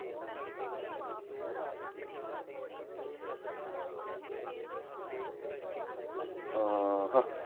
ਅਹ ਹਾਂ।